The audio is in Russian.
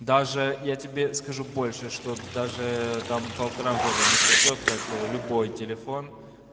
даже я тебе скажу больше что даже там полтора года не пройдёт как любой телефон